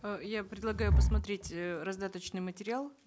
э я предлагаю посмотреть э раздаточный материал